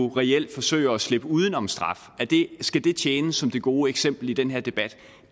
reelt forsøger at slippe uden om straf skal det tjene som det gode eksempel i den her debat